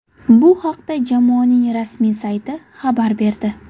Bu haqda jamoaning rasmiy sayti xabar berdi .